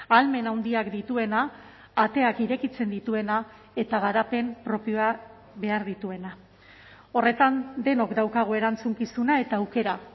ahalmen handiak dituena ateak irekitzen dituena eta garapen propioa behar dituena horretan denok daukagu erantzukizuna eta aukera